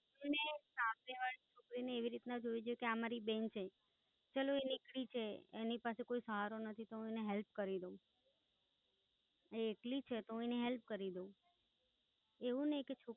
એને સામેવાળી છોકરીને એવી રીતના જોવી જોઈએ કે આ મારી બેન છે, એ એકલી છે, એની પાસે કોઈ સહારો નથી તો હું એને Help કરું દઉં. એ એકલી છે તો એની Help કરી દઉં. એવું નાઈ કે છોકરી